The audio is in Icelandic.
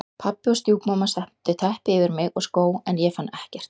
Pabbi og stjúpmamma settu teppi yfir mig og skó en ég fann ekkert.